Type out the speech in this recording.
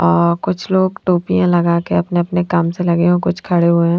अह कुछ लोग टोपियां लगा के अपने अपने काम से लगे और कुछ खड़े हुए हैं।